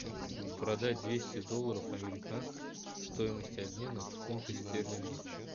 продать двести долларов американских стоимость обмена в фунты стерлинги